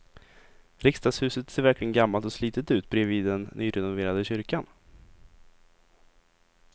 Riksdagshuset ser verkligen gammalt och slitet ut bredvid den nyrenoverade kyrkan.